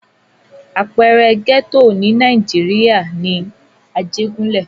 Àpẹẹrẹ gẹ́tò ní Nàìjíríà ni Ajégúnlẹ̀.